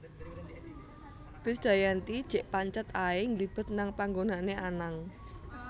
Krisdayanti jek pancet ae ngglibet nang panggonane Anang